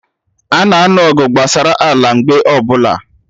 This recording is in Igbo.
Ana anụ ọgụ gbasara ala mgbe ọbụla